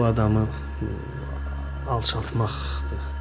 Bu adamı alçaltmaqdır.